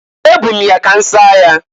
Ebu m ya ka m saa ya.